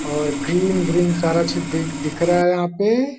और ग्रीन-ग्रीन सारा चीज दि दिख रहा है यहाँ पे।